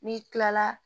N'i kilala